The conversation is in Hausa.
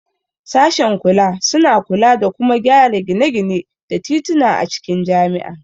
Sashen kula suna kula da kuma gyara gine-gine da tituna a cikin jami'a.